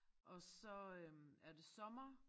Og så øh er det sommer